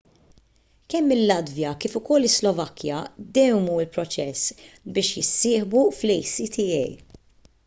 kemm il-latvja kif ukoll is-slovakkja dewwmu l-proċess biex jissieħbu fl-acta